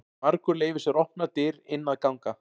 Margur leyfir sér opnar dyr inn að ganga.